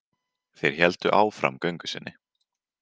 Þeir héldu áfram göngu sinni.